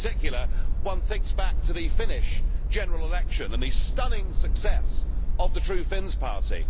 In particular, one thinks back to the Finnish general election and the stunning success of the True Finns party.